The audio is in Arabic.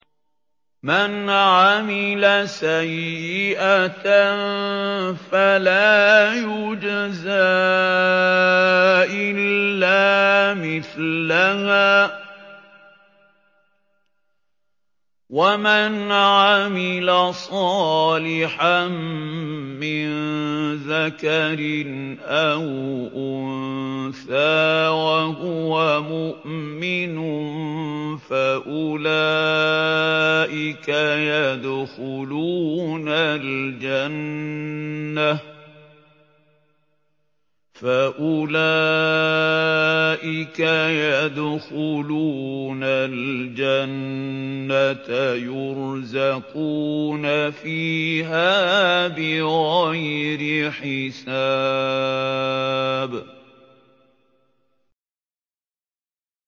مَنْ عَمِلَ سَيِّئَةً فَلَا يُجْزَىٰ إِلَّا مِثْلَهَا ۖ وَمَنْ عَمِلَ صَالِحًا مِّن ذَكَرٍ أَوْ أُنثَىٰ وَهُوَ مُؤْمِنٌ فَأُولَٰئِكَ يَدْخُلُونَ الْجَنَّةَ يُرْزَقُونَ فِيهَا بِغَيْرِ حِسَابٍ